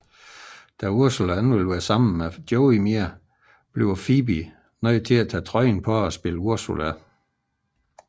Da Ursula ikke vil være sammen med Joey mere bliver Phoebe nødt til at tage trøjen på og spille Ursula